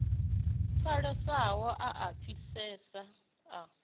hwalesaho a a fhisesa a